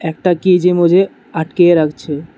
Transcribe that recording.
একটা কেজ এ মজে আটকিয়ে রাখছে।